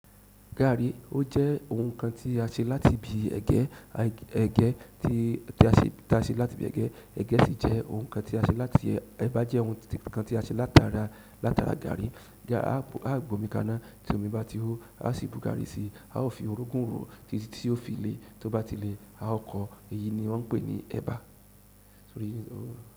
Gààrí, ó jẹ́ ohun kan tí a ṣe láti ibi ẹ̀gẹ́, ẹ̀gẹ́ tí ta ṣe láti ibi ẹ̀gẹ́, ẹ̀gẹ́ sì jẹ́ ohun kan tí a ṣe láti ẹba jẹ́ ohun kan tí a ṣe látara, látara gààrí. Aa gb'omi kaná, tí omi bá ti hó a sì bu garri sí, a ó fi orogun rọ títí tí yóò fi lè, tí o bá ti lè a ó kọ. Èyí ni wọn pè ní ẹba.